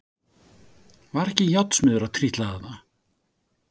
Var ekki járnsmiður að trítla þarna?